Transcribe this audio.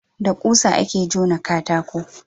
da ƙusa a ke jona katako